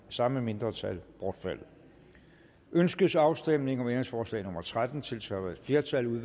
samme mindretal bortfaldet ønskes afstemning om ændringsforslag nummer tretten tiltrådt af et flertal